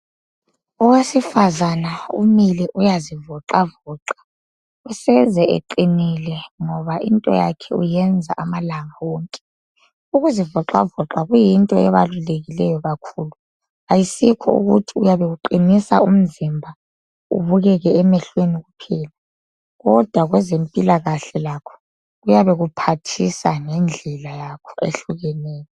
Owesifazana umile uyazivoxavoxa useze eqinile ngoba into yakhe uyenza amalanga wonke. Ukuzivoxavoxa kuyinto ebalulekileyo kakhulu, ayisikho ukuthi uyabe uqinisa umzimba ubukeke emehlweni kuphela kodwa kwezempilakahle lakho kuyabe kuphathisa ngendlela yakho ehlukeneyo.